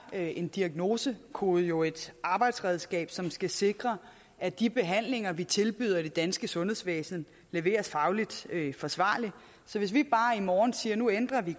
er en diagnosekode jo et arbejdsredskab som skal sikre at de behandlinger vi tilbyder i det danske sundhedsvæsen leveres fagligt forsvarligt så hvis vi i morgen siger at nu ændrer vi